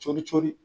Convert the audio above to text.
Cori cori